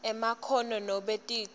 emakhono nobe ticu